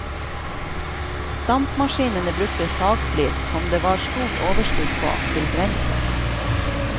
Dampmaskinene brukte sagflis som det var stort overskudd på, til brensel.